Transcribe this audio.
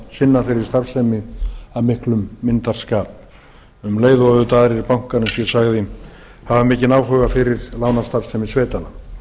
sinna þeirri starfsemi af miklum myndarskap en aðrir bankar hafa einnig eins og ég sagði mikinn áhuga fyrir lánastarfsemi sveitanna